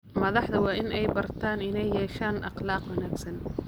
Madaxdu waa inay bartaan inay yeeshaan akhlaaq wanaagsan.